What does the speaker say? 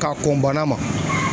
Ka kɔn bana ma.